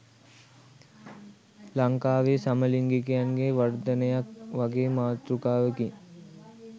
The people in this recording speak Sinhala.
"ලංකාවේ සමලිංගිකයන්ගේ වර්ධනයක්" වගේ මාතෘකාවකින්.